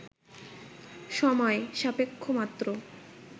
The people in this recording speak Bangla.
সময় সাপেক্ষমাত্র